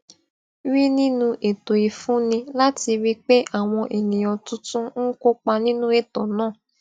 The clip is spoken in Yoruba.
rí nínú ètò ìfúnni láti rí i pé àwọn eniyan tuntun ń kópa nínú ètò náà